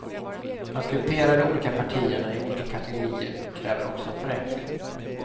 Att gruppera de olika partierna i olika kategorier kräver också en förenkling.